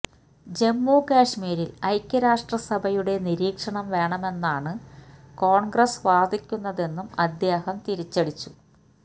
ജമ്മു കാഷ്മീരിൽ ഐക്യരാഷ്ട്രസഭയുടെ നിരീക്ഷണം വേണമെന്നാണ് കോണ്ഗ്രസ് വാദിക്കുന്നതെന്നും അദ്ദേഹം തിരിച്ചടിച്ചു